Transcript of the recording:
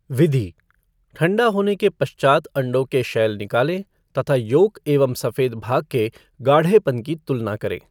विधि ठण्डा होने के पश्चात अण्डों के शैल निकालें तथा योक एवं सफेद भाग के गाढ़ेपन की तुलना करें।